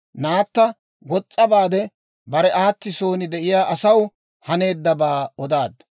Naatta wos's'a baade, bare aati son de'iyaa asaw haneeddabaa odaaddu.